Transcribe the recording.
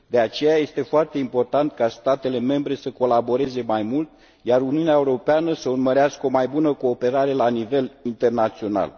De aceea, este foarte important ca statele membre să colaboreze mai mult, iar Uniunea Europeană să urmărească o mai bună cooperare la nivel internațional.